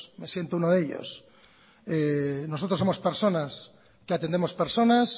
me siento unos de ellos nosotros somos personas que atendemos personas